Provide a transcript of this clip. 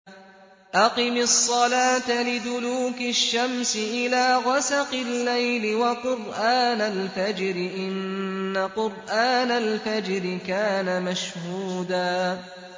أَقِمِ الصَّلَاةَ لِدُلُوكِ الشَّمْسِ إِلَىٰ غَسَقِ اللَّيْلِ وَقُرْآنَ الْفَجْرِ ۖ إِنَّ قُرْآنَ الْفَجْرِ كَانَ مَشْهُودًا